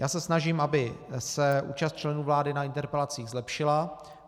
Já se snažím, aby se účast členů vlády na interpelacích zlepšila.